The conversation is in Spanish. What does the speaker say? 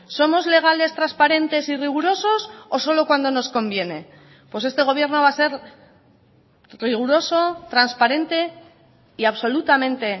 somos legales transparentes y rigurosos o solo cuando nos conviene pues este gobierno va a ser riguroso transparente y absolutamente